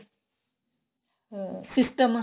ਅਹ system